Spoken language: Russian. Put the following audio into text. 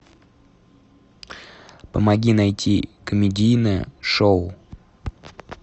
помоги найти комедийное шоу